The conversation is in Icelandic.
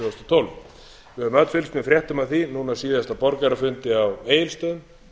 tólf við höfum öll fylgst með fréttum af því núna síðast á borgarafundi á egilsstöðum